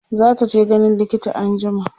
zataje ganin likita anjima